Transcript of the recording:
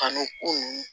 Kanu ko